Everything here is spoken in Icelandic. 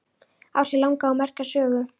Á sér langa og merka sögu.